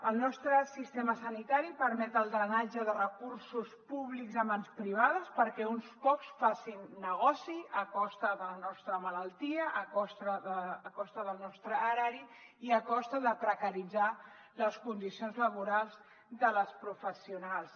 el nostre sistema sanitari permet el drenatge de recursos públics a mans privades perquè uns pocs facin negoci a costa de la nostra malaltia a costa del nostre erari i a costa de precaritzar les condicions laborals de les professionals